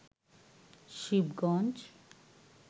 Shibganj